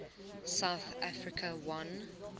south africa won